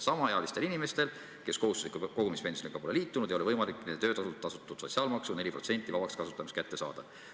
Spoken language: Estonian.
Samaealistel inimestel, kes kohustusliku kogumispensioniga pole liitunud, ei ole võimalik nende töötasult tasutud sotsiaalmaksust 4% vabaks kasutamiseks kätte saada.